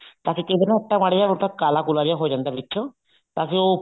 ਤਾਂ ਕਈ ਵਾਰ ਨਾ ਆਟਾ ਮਾੜਾ ਮੋਟਾ ਕਾਲ ਕੁਲਾ ਜਾ ਹੋ ਜਾਂਦਾ ਵਿੱਚੋ ਤਾਂਕਿ ਉਹ